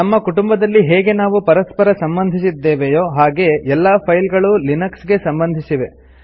ನಮ್ಮ ಕುಟುಂಬದಲ್ಲಿ ಹೇಗೆ ನಾವು ಪರಸ್ಪರ ಸಂಬಂಧಿಸಿದ್ದೇವೆಯೋ ಹಾಗೇ ಎಲ್ಲಾ ಫೈಲ್ ಗಳು ಲಿನಕ್ಸ್ ಗೆ ಸಂಬಂಧಿಸಿವೆ